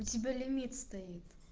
у тебя лимит стоит